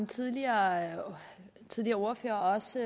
tidligere tidligere ordførere har også